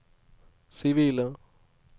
sivile